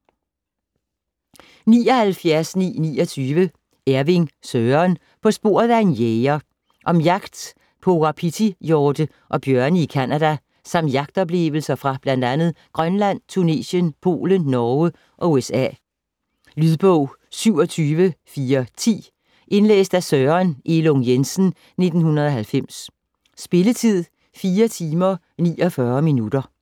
79.929 Ervig, Søren: På sporet af en jæger Om jagt på wapitihjorte og bjørne i Canada samt jagtoplevelser fra bl.a. Grønland, Tunesien, Polen, Norge og USA. Lydbog 27410 Indlæst af Søren Elung Jensen, 1990. Spilletid: 4 timer, 49 minutter.